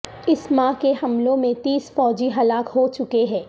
اس ماہ کے حملوں میں تیس فوجی ہلاک ہوچکے ہیں